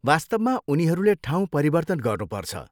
वास्तवमा उनीहरूले ठाउँ परिवर्तन गर्नुपर्छ।